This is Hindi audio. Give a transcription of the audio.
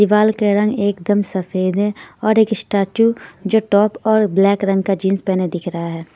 दीवाल के रंग एकदम सफेद है और एक स्टैचू जो टॉप और ब्लैक रंग का जींस पहने दिख रहा है.